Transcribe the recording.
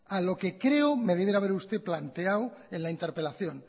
a lo que creo me debiera haber planteado en la interpelación